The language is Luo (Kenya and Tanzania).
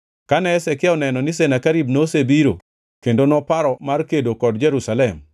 Kane Hezekia oneno ni Senakerib nosebiro kendo noparo mar kedo kod Jerusalem,